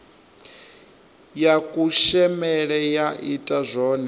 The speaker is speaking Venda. ya kushemele ya ita zwone